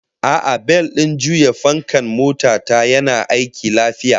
A'a, bel din juya fankan mota ta yana aiki lafiya